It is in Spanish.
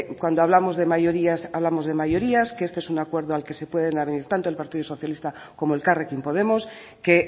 cuando hablamos de mayorías hablamos de mayorías que este es un acuerdo al que se pueden abrir tanto el partido socialista como elkarrekin podemos que